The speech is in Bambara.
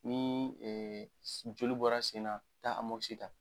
Nii s joli bɔra sen na taa ta.